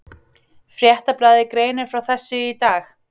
Fréttablaðið greinir frá þessu í dag